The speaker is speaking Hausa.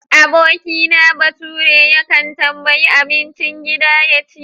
Abokina baturen yakan tambayi abincin gida ya ci.